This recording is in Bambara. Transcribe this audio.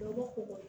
Dɔw b'u ko